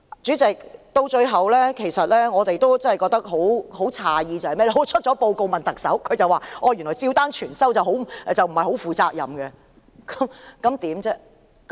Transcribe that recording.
主席，最後，我們感到很詫異的是，有人在報告發表後詢問特首，而她表示照單全收並非負責任的行為。